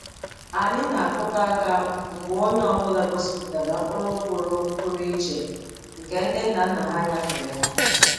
Anyị na-akụkọ aka mgbe onye ọ bụla gosipụtara mkpụrụ pụrụ pụrụ iche nke ndị nna nna ha nyefere ha.